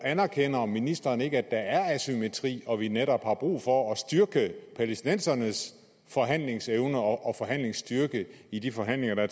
anerkender ministeren ikke at der er asymmetri og at vi netop har brug for at styrke palæstinensernes forhandlingsevne og forhandlingsstyrke i de forhandlinger der